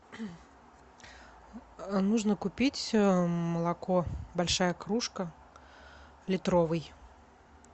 нужно купить молоко большая кружка литровый